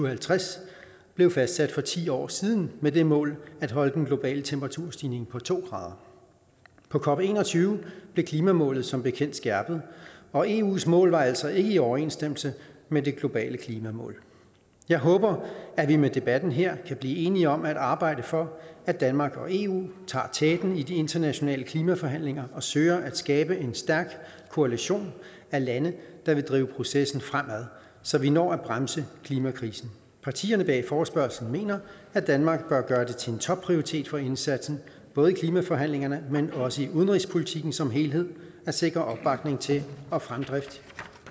og halvtreds blev fastsat for ti år siden med det mål at holde den globale temperaturstigning på to grader på cop21 blev klimamålet som bekendt skærpet og eus mål var altså ikke i overensstemmelse med det globale klimamål jeg håber at vi med debatten her kan blive enige om at arbejde for at danmark og eu tager teten i de internationale klimaforhandlinger og søger at skabe en stærk koalition af lande der vil drive processen fremad så vi når at bremse klimakrisen partierne bag forespørgslen mener at danmark bør gøre det til en topprioritet for indsatsen både i klimaforhandlingerne men også i udenrigspolitikken som helhed at sikre opbakning til og fremdrift